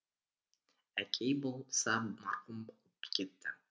әкей болса марқұм болып кетті